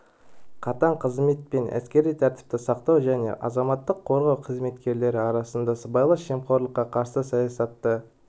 қатаң қызмет пен әскери тәртіпті сақтау және азаматтық қорғау қызметкерлері арасында сыбайлас жемқорлыққа қарсы саясатты